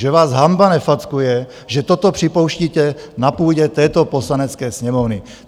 Že vás hanba nefackuje, že toto připouštíte na půdě této Poslanecké sněmovny!